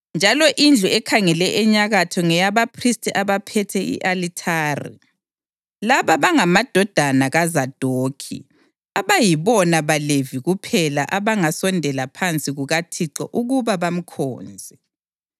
njalo indlu ekhangele enyakatho ngeyabaphristi abaphethe i-alithari. Laba bangamadodana kaZadokhi abayibona baLevi kuphela abangasondela phansi kukaThixo ukuba bamkhonze.”